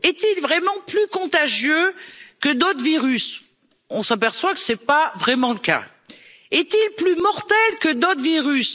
Est il vraiment plus contagieux que d'autres virus? On s'aperçoit que ce n'est pas vraiment le cas. Est il plus mortel que d'autres virus?